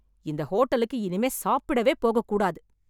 இந்த ஹோட்டலுக்கு இனிமே சாப்பிடவே போக கூடாது.